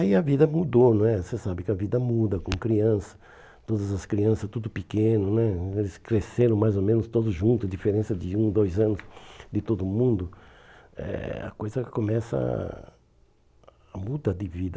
Aí a vida mudou não é, você sabe que a vida muda com criança, todas as crianças, tudo pequeno né, eles cresceram mais ou menos todos juntos, a diferença de um, dois anos de todo mundo, eh a coisa começa a a mudar de vida.